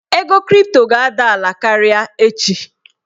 Ego kripto ga-ada ala karịa echi.